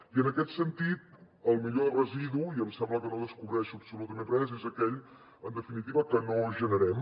i en aquest sentit el millor residu i em sembla que no descobreixo absolutament res és aquell en definitiva que no generem